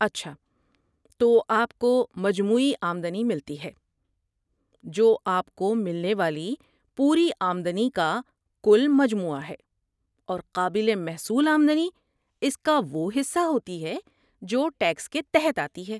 اچھا تو، آپ کو مجموعی آمدنی ملتی ہے، جو آپ کو ملنے والی پوری آمدنی کا کل مجموعہ ہے، اور قابل محصول آمدنی اس کا وہ حصہ ہوتی ہے جو ٹیکس کے تحت آتی ہے۔